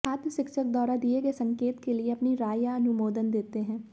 छात्र शिक्षक द्वारा दिए गए संकेत के लिए अपनी राय या अनुमोदन देते हैं